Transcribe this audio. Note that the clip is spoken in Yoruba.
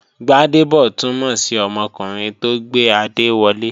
Gbádébọ̀ túnmọ̀ sí ọmọkùnrin tó gbé adé wọlé